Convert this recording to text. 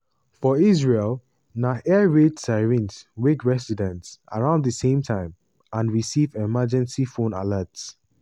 for israel na air raid sirens wake residents around di same time and receive emergency phone alerts.